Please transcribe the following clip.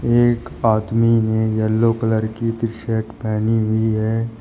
एक आदमी ने येलो कलर की टी शर्ट पहेनी हुई है।